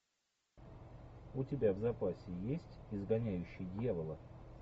у тебя в запасе есть изгоняющий дьявола